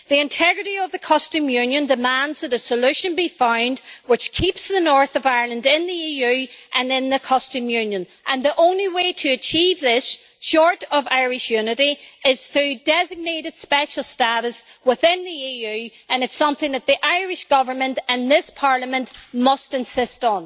The integrity of the customs union demands that a solution be found which keeps the north of Ireland in the EU and in the customs union and the only way to achieve this, short of Irish unity, is through designated special status within the EU and it is something that the Irish Government and this Parliament must insist on.